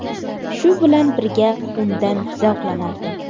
Shu bilan birga undan zavqlanardim.